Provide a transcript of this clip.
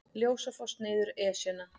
Ljósafoss niður Esjuna